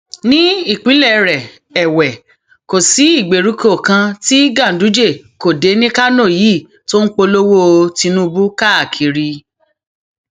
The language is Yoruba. ní ìpínlẹ rẹ èwe kò sí ìgbèríko kan tí ganduje kò dé ní kánò yìí tó ń polówó tìǹbù káàkiri